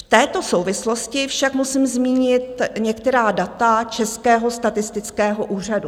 V této souvislosti však musím zmínit některá data Českého statistického úřadu.